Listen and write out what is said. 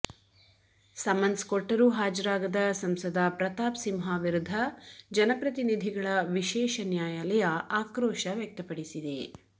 summons ಕೊಟ್ಟರೂ ಹಾಜರಾಗದ ಸಂಸದ ಪ್ರತಾಪ್ ಸಿಂಹ ವಿರುದ್ಧ ಜನಪ್ರತಿನಿಧಿಗಳ ವಿಶೇಷ ನ್ಯಾಯಾಲಯ ಆಕ್ರೋಶ ವ್ಯಕ್ತಪಡಿಸಿದೆ